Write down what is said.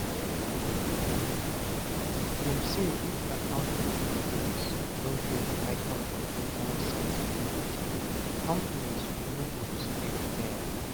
Dem say if accounting students no get ICAN professional certificate, companies no go respect dem